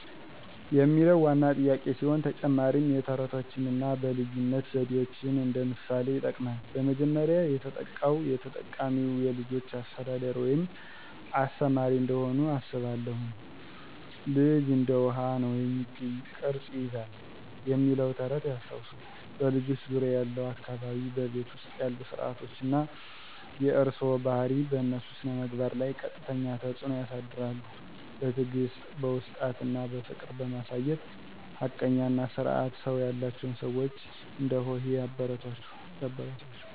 የሚለው ዋና ጥያቄ ሲሆን፣ ተጨማሪም የተረቶችን አና በልይነት ዘዴዎችን እንደ ምሣሌ ይጥቅማል። በመጀመሪያ፣ የተጠቃው የተጠቃሚዉ የልጅች አሰተዳደር ወይም አስተማሪ እንደሆኑ አስባለሁን። ልጅ እንደ ዉሀ። ነው፤ የሚገኘውን ቅረጽ ይይዛል "የሚለው ተረት ያስታወሱት "በልጆች ዙርያ ያለው አካባቢ፣ በቤት ዉስጥ ያሉ ስረዓቶች አና የእርሰዋ ባሀሪ በእነሱ ስነምግባር ለይ ቀጥተኛ ተጽዕኖ ያሳድራሉ። በትዕግስት፣ ዉስጥት አና ፍቅር በማሳየት ሀቀኛ አና ስርአት ሰው ያላቸው ሰዋች እንደሆሂ ያበረታታችዉ።